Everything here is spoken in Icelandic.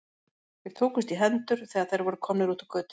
Þeir tókust í hendur, þegar þeir voru komnir út á götu.